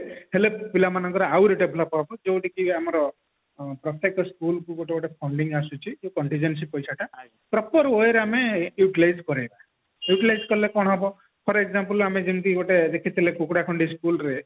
ହେଲେ ପିଲାମାନଙ୍କର ଆହୁରି develop ହେବ ଯୋଉଟା କି ଆମର ପ୍ରତ୍ୟକ school କୁ ଗୋଟେ ଗୋଟେ funding ଆସୁଛି ସେଇ funding ରେ ସେଇ ପଇସାଟା proper way ରେ ଆମେ utilize କରେଇବା utilize କଲେ କଣ ହେବ ଧର example ଆମେ ଯେମତି ଗୋଟେ ଦେଖିଥିଲେ କୁକୁଡାଖଣ୍ଡି school ରେ